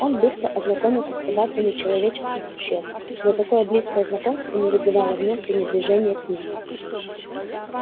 он быстро ознакомился с повадками человеческих существ но такое близкое знакомство не вызывало в нём пренебрежения к ним